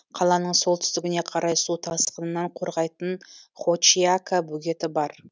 қаланың солтүстігіне қарай су тасқынынан қорғайтын хочиака бөгеті бар